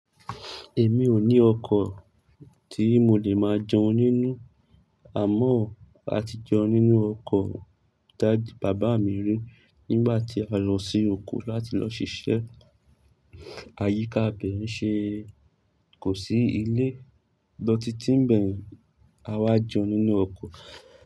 Èmi ò ní ọkó tí mo lè máa jẹun nínú, àmọ́ a ti jẹun nínú ọkó bàbá mi rí nígbà tí a lọ sí òkó láti lọ ṣiṣẹ́. Àyíká bẹ̀ n ṣe, kò sí ilé, lọ́títí níbẹ yen a wá jẹun nínú ọkọ̀